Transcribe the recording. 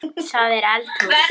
Hvar er hún?